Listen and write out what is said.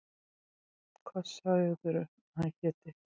Hvað sagðirðu að hann héti?